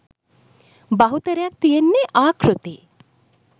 බහුතරයක් තියෙන්නේ ආකෘති.